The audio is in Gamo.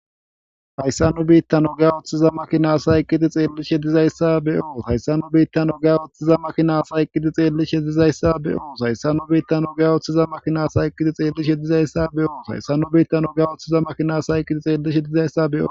hayssa nu biittan oga oththiza makinasa iqqiti xeellish hedizayssa be7oo hayssannu biittan oga oththiza makinasa iqqiti xeellish hedizayssa be7oo hayssa nu biittan ogay oththiza makinasa iqqiti xeellish hedizayssa be7oo hayssan nu biittan oga uththiza makinasa iqqiti xeellishedizayssa be7oo